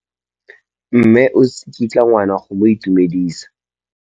Mme o tsikitla ngwana go mo itumedisa.